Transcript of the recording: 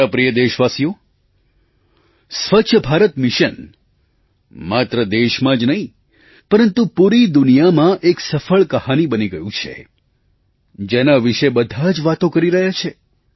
મારા પ્રિય દેશવાસીઓ સ્વચ્છ ભારત મિશન માત્ર દેશમાં જ નહીં પરંતુ પૂરી દુનિયામાં એક સફળ કહાની બની ગયું છે જેના વિશે બધા જ વાતો કરી રહ્યા છે